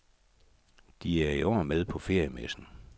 De er i år med på feriemessen.